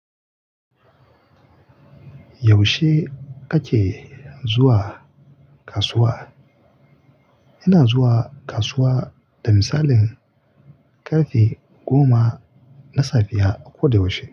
Yaushe kake zuwa kasuwa? Ina zuwa kasuwa da misalin karfe goma na safiya a koda yaushe.